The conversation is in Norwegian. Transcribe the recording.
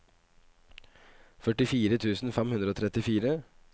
førtifire tusen fem hundre og trettifire